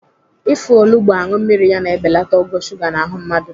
Ịfụ olugbo aṅụ mmiri ya na-ebelata ogo shuga n'ahụ mmadụ.